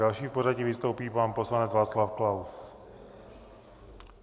Další v pořadí vystoupí pan poslanec Václav Klaus.